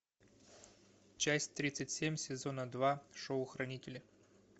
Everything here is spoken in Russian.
часть тридцать семь сезона два шоу хранители